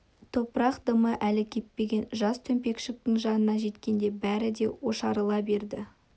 топырақ дымы әлі кеппеген жас төмпешіктің жанына жеткенде бәрі де ошарыла берді